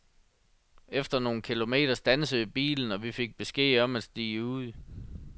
Efter nogle kilometer standsede bilen, og vi fik besked om at stige ud.